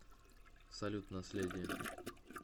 салют наследие